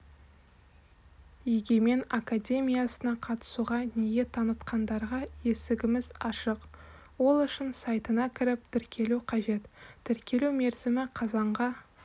егемен академиясына қатысуға ниет танытқандарға есігіміз ашық ол үшін сайтына кіріп тіркелу қажет тіркелу мерзімі қазанға